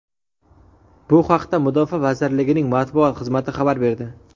Bu haqda Mudofaa vazirligining matbuot xizmati xabar berdi.